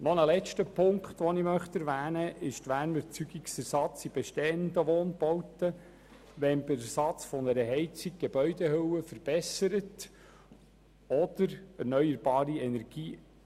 Als letzten Punkt erwähne ich noch den Ersatz von Wärmeerzeugern in bestehenden Wohnbauten.